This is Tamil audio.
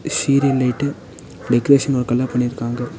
சீரியல் லைட்டு டெக்கரேஷன் ஒர்க்கல்லா பண்ணிருக்காங்க.